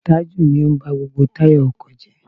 Taju ni ó ń ba gbogbo táyà ọkọ̀ jẹ́.